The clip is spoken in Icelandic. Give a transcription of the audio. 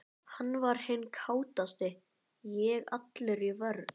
Hann var hinn kátasti, ég allur í vörn.